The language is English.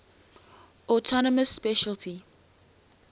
autonomous specialty